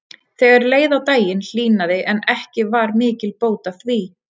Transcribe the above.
Þegar leið á daginn hlýnaði en ekki var mikil bót að því.